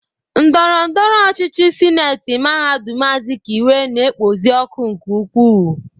Ndọrọndọrọ ọchịchị sineeti mahadum Azikiwe na-ekpozi ọkụ nke ukwuu.